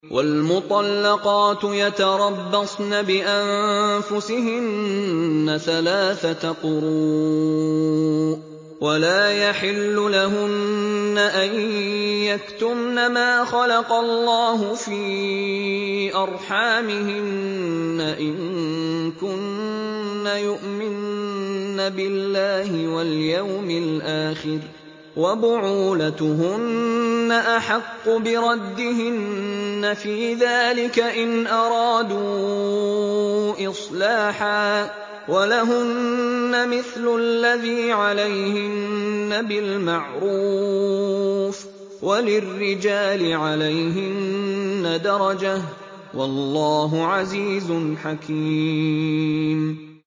وَالْمُطَلَّقَاتُ يَتَرَبَّصْنَ بِأَنفُسِهِنَّ ثَلَاثَةَ قُرُوءٍ ۚ وَلَا يَحِلُّ لَهُنَّ أَن يَكْتُمْنَ مَا خَلَقَ اللَّهُ فِي أَرْحَامِهِنَّ إِن كُنَّ يُؤْمِنَّ بِاللَّهِ وَالْيَوْمِ الْآخِرِ ۚ وَبُعُولَتُهُنَّ أَحَقُّ بِرَدِّهِنَّ فِي ذَٰلِكَ إِنْ أَرَادُوا إِصْلَاحًا ۚ وَلَهُنَّ مِثْلُ الَّذِي عَلَيْهِنَّ بِالْمَعْرُوفِ ۚ وَلِلرِّجَالِ عَلَيْهِنَّ دَرَجَةٌ ۗ وَاللَّهُ عَزِيزٌ حَكِيمٌ